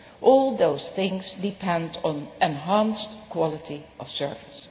All those things depend on enhanced quality of service.